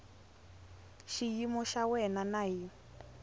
xiyimo xa wena na hi